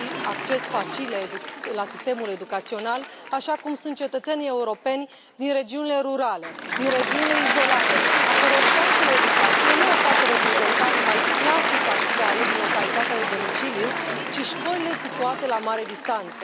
acces facil la sistemul educațional, așa cum sunt cetățenii europeni din regiunile rurale, din regiunile izolate, a căror șansă la educație nu o poate reprezenta numai clasica școală din localitatea de domiciliu, ci școlile situate la mare distanță.